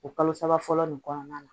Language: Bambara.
O kalo saba fɔlɔ nin kɔnɔna la